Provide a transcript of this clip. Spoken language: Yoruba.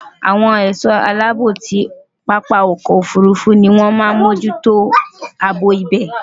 Awon è̩só̩ aláàbò ti pápá o̩kò̩ òfurufu ni wón máa n mójútó àbò ibè̩.